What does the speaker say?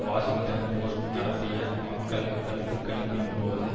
Washington Post நடத்திய மக்கள் கருத்து கணிப்பின் போது